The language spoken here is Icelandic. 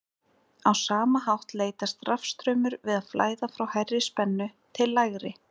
á sama hátt leitast rafstraumur við að flæða frá hærri spennu til lægri